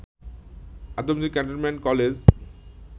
Adamjee cantonment college